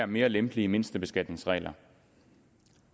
mere lempelige mindstebeskatningsregler